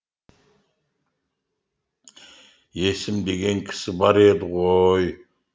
есім деген кісі бар еді ғой